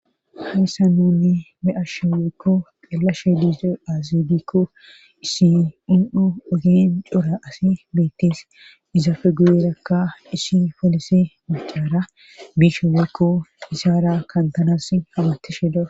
hayssa nuni be7asho weykko qallashe dise azibikko isi unu7u ogen cora asi beittis izaafe guyerakka isi foolisi mucaara biisha weykko isaara kantanas hamatishe dawus